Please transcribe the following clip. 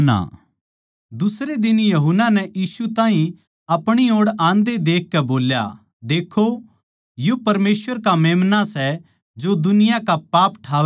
दुसरै दिन यूहन्ना नै यीशु ताहीं अपणी ओड़ आन्दे देखकै बोल्या देक्खो यो परमेसवर का मेम्‍ना सै जो दुनिया का पाप ठावै सै